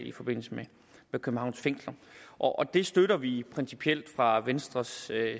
i forbindelse med københavns fængsler og det støtter vi principielt fra venstres